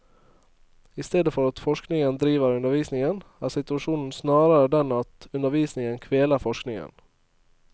I stedet for at forskningen driver undervisningen, er situasjonen snarere den at undervisningen kveler forskningen.